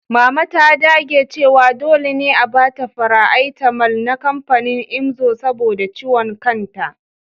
Mama ta dage cewa dole ne a ba ta faraaitamal na kamfanin imzo saboda ciwon kanta.